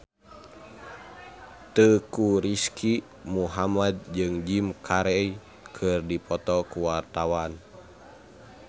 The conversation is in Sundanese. Teuku Rizky Muhammad jeung Jim Carey keur dipoto ku wartawan